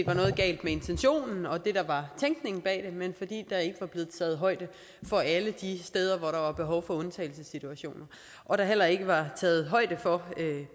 var noget galt med intentionen og det der var tænkningen bag det men fordi der ikke var blevet taget højde for alle de steder hvor der var behov for undtagelsessituationer og der heller ikke var taget højde for